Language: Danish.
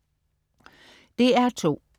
DR2: